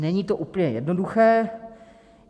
Není to úplně jednoduché.